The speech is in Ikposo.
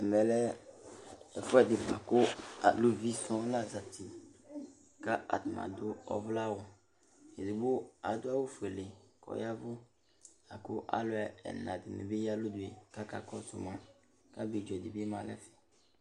Ɛmɛ lɛ ɛfuɛdi ku aluvi sɔ̃ la zati, ka atani adu ɔvlɛ awù, edigbo adu awù fuéle k'ɔya vu, la ku alu ɛla dini bi ya nu alɔnue k'aka kɔsu, k'abidzo du bi ma n'ɛfɛ